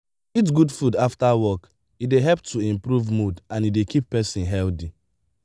eat good food after work e dey help to improve mood and e dey keep person healthy